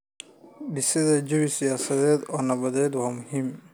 Dhisida jawi siyaasadeed oo nabad ah waa muhiim.